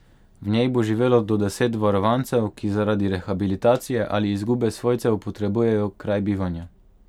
V njej bo živelo do deset varovancev, ki zaradi rehabilitacije ali izgube svojcev potrebujejo kraj bivanja.